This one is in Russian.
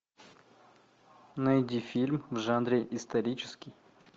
найди фильм в жанре исторический